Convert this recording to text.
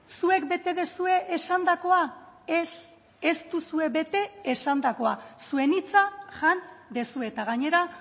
zuek bete duzue esandakoa ez ez duzue bete esandakoa zuen hitza jan duzue eta gainera